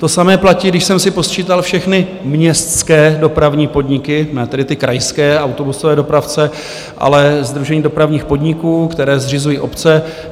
To samé platí, když jsem si posčítal všechny městské dopravní podniky, ne tedy ty krajské autobusové dopravce, ale sdružení dopravních podniků, které zřizují obce.